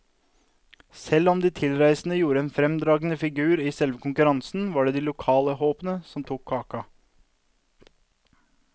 Selv om de tilreisende gjorde en fremragende figur i selve konkurransen, var det de lokale håpene som tok kaka.